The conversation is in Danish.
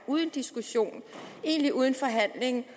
uden diskussion egentlig uden forhandling